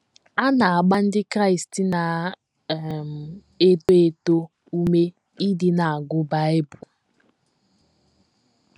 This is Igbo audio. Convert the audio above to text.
A na - agba Ndị Kraịst na um - eto eto ume ịdị na - agụ Bible.